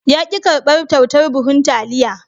Ya ki karbar kyautar buhun taliya.